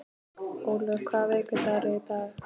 Ólöf, hvaða vikudagur er í dag?